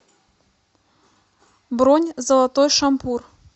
бронь золотой шампур